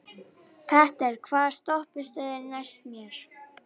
Petter, hvaða stoppistöð er næst mér?